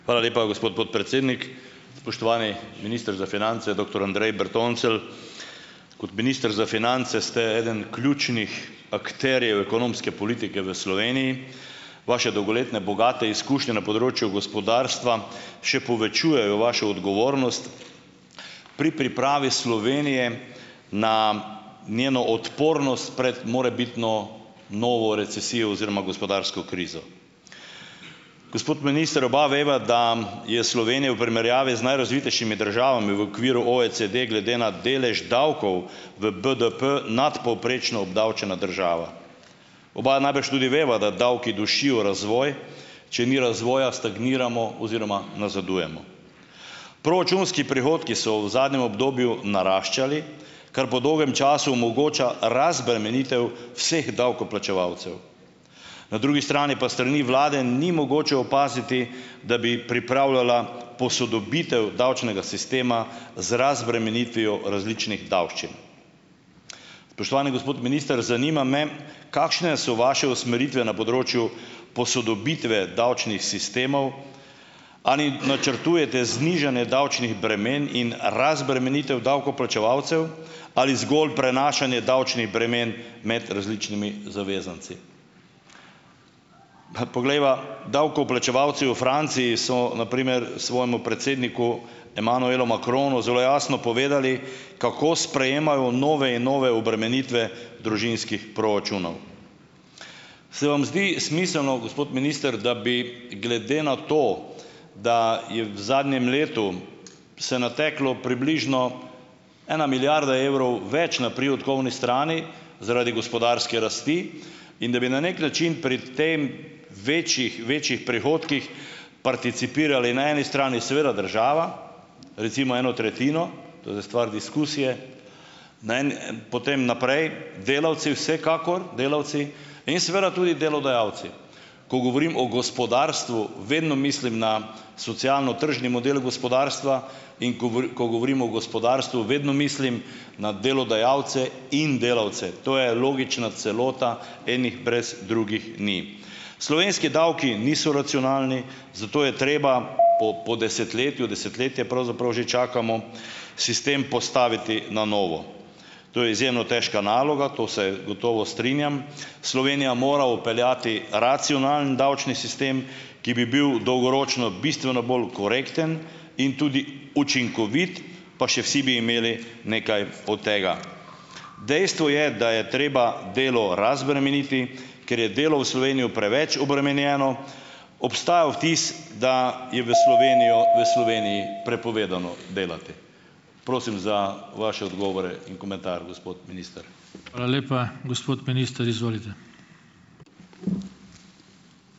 Hvala lepa, gospod podpredsednik. Spoštovani minister za finance, doktor Andrej Bertoncelj! Kot minister za finance ste eden ključnih akterjev ekonomske politike v Sloveniji, vaše dolgoletne bogate izkušnje na področju gospodarstva še povečujejo vašo odgovornost pri pripravi Slovenije na njeno odpornost pred morebitno novo recesijo oziroma gospodarsko krizo. Gospod minister, oba veva, da je Slovenija v primerjavi z najrazvitejšimi državami v okviru OECD glede na delež davkov v BDP nadpovprečno obdavčena država. Oba najbrž tudi veva, da davki dušijo razvoj. Če ni razvoja, stagniramo oziroma nazadujemo. Proračunski prihodki so v zadnjem obdobju naraščali, kar po dolgem času omogoča razbremenitev vseh davkoplačevalcev. Na drugi strani pa s strani vlade ni mogoče opaziti, da bi pripravljala posodobitev davčnega sistema z razbremenitvijo različnih davščin. Spoštovani gospod minister, zanima me, kakšne so vaše usmeritve na področju posodobitve davčnih sistemov. Ali načrtujete znižanje davčnih bremen in razbremenitev davkoplačevalcev? Ali zgolj prenašanje davčnih bremen med različnimi zavezanci? Pa poglejva - davkoplačevalci v Franciji so na primer svojemu predsedniku Emmanuelu Macronu zelo jasno povedali, kako sprejemajo nove in nove obremenitve družinskih proračunov. Se vam zdi smiselno, gospod minister, da bi, glede na to, da je v zadnjem letu se nateklo približno ena milijarda evrov več na prihodkovni strani zaradi gospodarske rasti, in da bi na neki način pri tem - večjih večjih prihodkih participirali na eni strani seveda država, recimo eno tretjino, to je zdaj stvar diskusije, na en en potem naprej delavci vsekakor, delavci, in seveda tudi delodajalci. Ko govorim o gospodarstvu, vedno mislim na socialno-tržni model gospodarstva in govor, ko govorim o gospodarstvu, vedno mislim na delodajalce in delavce. To je logična celota, enih brez drugih ni. Slovenski davki niso racionalni, zato je treba po po desetletju - desetletje pravzaprav že čakamo - sistem postaviti na novo. To je izjemno težka naloga, to se gotovo strinjam. Slovenija mora vpeljati racionalen davčni sistem, ki bi bil dolgoročno bistveno bolj korekten in tudi učinkovit, pa še vsi bi imeli nekaj od tega. Dejstvo je, da je treba delo razbremeniti, ker je delo v Slovenijo preveč obremenjeno. Obstaja vtis, da je v Slovenijo, v Sloveniji prepovedano delati. Prosim za vaše odgovore in komentar, gospod minister.